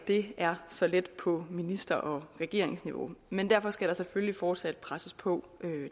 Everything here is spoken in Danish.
ikke er så let på minister og regeringsniveau men derfor skal der selvfølgelig fortsat presses på